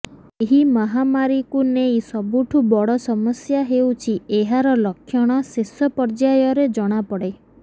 ଏହି ମହାମାରୀଲକୁ ନେଇ ସବୁଠୁ ବଡ଼ ସମସ୍ୟା ହେଉଛି ଏହାର ଲକ୍ଷଣ ଶେଷ ପର୍ଯ୍ୟାୟରେ ଜଣାପଡ଼େ